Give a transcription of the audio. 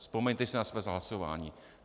Vzpomeňte si na své hlasování.